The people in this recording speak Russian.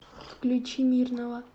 включи мирного